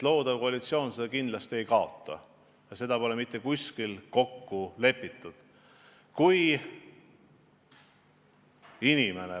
Loodav koalitsioon seda kindlasti ei kaota ja seda pole mitte kuskil kokku lepitud.